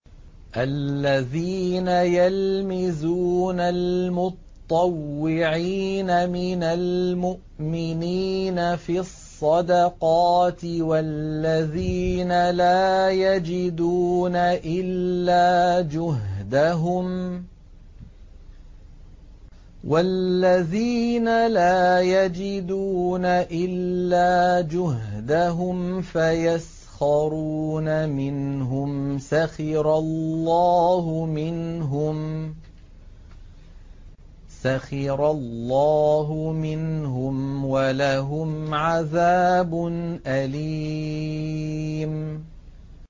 الَّذِينَ يَلْمِزُونَ الْمُطَّوِّعِينَ مِنَ الْمُؤْمِنِينَ فِي الصَّدَقَاتِ وَالَّذِينَ لَا يَجِدُونَ إِلَّا جُهْدَهُمْ فَيَسْخَرُونَ مِنْهُمْ ۙ سَخِرَ اللَّهُ مِنْهُمْ وَلَهُمْ عَذَابٌ أَلِيمٌ